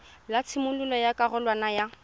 la tshimololo ya karolwana ya